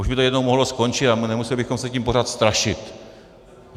Už by to jednou mohlo skončit a nemuseli bychom se tím pořád strašit.